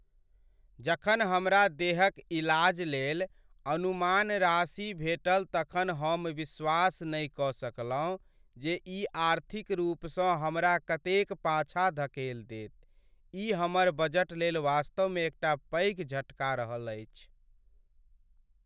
जखन हमरा देहक इलाज लेल अनुमान राशि भेटल तखन हम विश्वास नहि कऽ सकलहुँ जे ई आर्थिक रूपसँ हमरा कतेक पाछाँ धकेल देत। ई हमर बजटलेल वास्तवमे एकटा पैघ झटका रहल अछि।